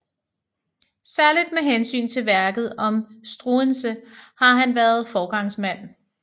Særligt med hensyn til værket om Struensee har han været foregangsmand